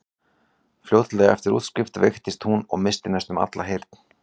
Fljótlega eftir útskrift veiktist hún og missti næstum alla heyrn.